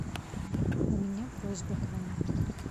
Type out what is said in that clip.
у меня просьба к вам